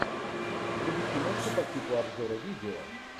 вруби киношку по типу обзора видео